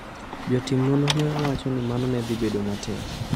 Jotim nonro ne wacho ni mano ne dhi bedo matek.